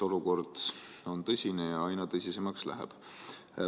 Olukord on tõsine ja aina tõsisemaks läheb.